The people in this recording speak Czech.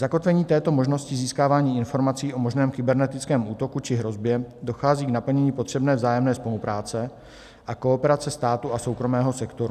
Zakotvení této možnosti získávání informací o možném kybernetickém útoku či hrozbě dochází k naplnění potřebné vzájemné spolupráce a kooperace státu a soukromého sektoru.